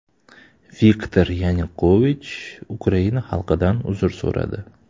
Viktor Yanukovich Ukraina xalqidan uzr so‘radi.